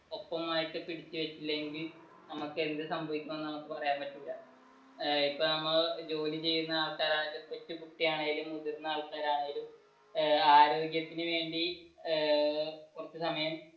ഒപ്പമായിട്ട് പിടിച്ചു വച്ചില്ലെങ്കിൽ നമുക്ക് എന്ത് സംഭവിക്കുമെന്ന് പറയാൻ പറ്റില്ല ഇപ്പൊ നമ്മൾ ജോലി ചെയ്യുന്ന ആൾകാരനാണെങ്കിലും, കൊച്ചുകുട്ടിയാണെങ്കിലും, മുതിർന്ന ആൾകാർ ആണെങ്കിലും ആരോഗ്യത്തിനു വേണ്ടി ഏർ കുറച്ചു സമയം